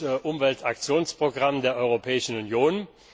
7. Umweltaktionsprogramm der Europäischen Union.